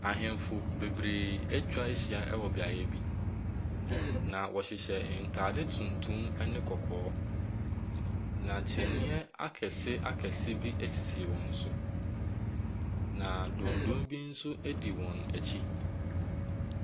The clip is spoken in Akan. Ahemfo bebree atwa ahyia wɔ beaeɛ bi, na wɔhyehyɛ ntade tuntum ne kɔkɔɔ, na kyiniiɛ akɛseakɛse bi sisi wɔn so, na dɔnno bi nso di wɔn akyi.